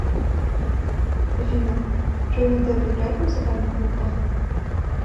афина джонни депп играет в музыкальных группах